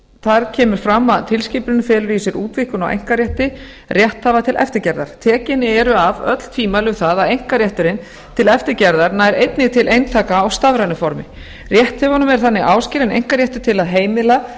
þar kemur fram að tilskipunin felur í sér útvíkkun á einkarétti rétthafa til eftirgerðar tekin eru af öll tvímæli um það að einkarétturinn til eftirgerðar nær einnig til eintaka á stafrænu formi rétthöfunum er þannig áskilinn einkaréttur til að heimila